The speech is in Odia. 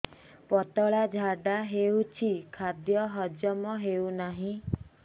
ପତଳା ଝାଡା ହେଉଛି ଖାଦ୍ୟ ହଜମ ହେଉନାହିଁ